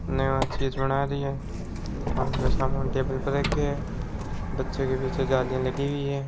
नया चीज बना रही है कुछ सामान टेबल पर रखयो है बच्चे के पीछे जालिया लगी हुयी है।